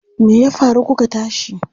Me ya faru kuka tashi?